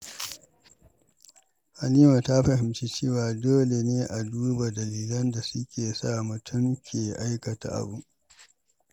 Halima ta fahimci cewa dole ne a duba dalilan da suka sa mutum ke aikata abu.